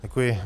Děkuji.